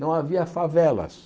Não havia favelas.